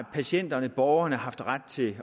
patienterneborgerne har haft ret til